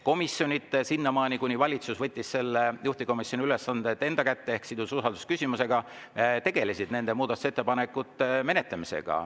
Komisjonid sinnamaani, kuni valitsus võttis juhtivkomisjoni ülesanded enda kätte ehk sidus eelnõud usaldusküsimusega, tegelesid muudatusettepanekute menetlemisega.